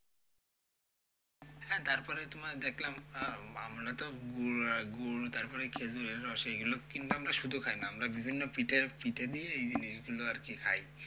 হ্যাঁ তারপরে তোমার দেখলাম আহ আমরা তো গুড় গুড় তারপরে খেঁজুরের রস এইগুলো কিন্তু আমরা শুধু খাইনা, আমরা বিভিন্ন পিঠে পিঠে দিয়ে এই জিনিসগুলো আরকি খাই।